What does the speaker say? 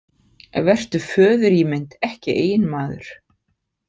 Vertu föðurímynd en ekki eiginmaður.